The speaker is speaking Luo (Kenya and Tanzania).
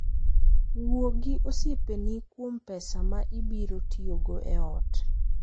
Wuo gi osiepeni kuom pesa ma ibiro tiyogo e ot.